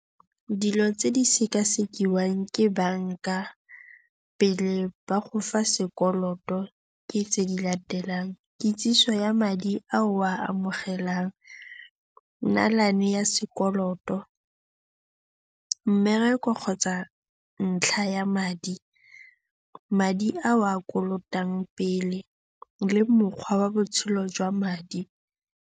Dilo tse di sekasekiwang ke banka pele ba go fa sekoloto, ke tse di latelang, kitsiso ya madi a o a amogelang, nnalane ya sekoloto, mmereko kgotsa ntlha ya madi, madi a o a kolotang pele le mokgwa wa botshelo jwa madi.